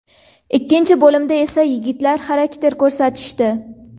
Ikkinchi bo‘limda esa yigitlar xarakter ko‘rsatishdi.